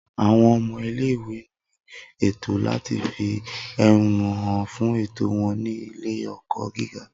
Awọn ọmọ ile-iwe ni ẹtọ lati fi ehonu han fun ẹtọ wọn ni ile-ẹkọ giga